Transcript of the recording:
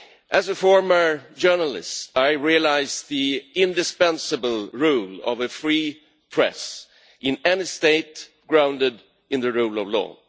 As a former journalist I realise the indispensable role of a free press in any state grounded in the rule of law.